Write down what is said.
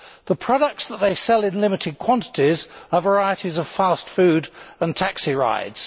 The products that they sell in limited quantities are varieties of fast food and taxi rides.